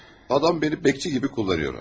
Adam məni gözətçi kimi kullanıyor.